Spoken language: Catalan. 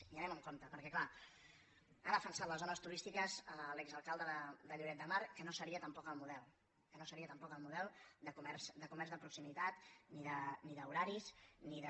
i anem amb compte perquè clar ha defensat les zones turístiques l’exalcalde de lloret de mar que no seria tampoc el model que no seria tampoc el model de comerç de proximitat ni d’horaris ni de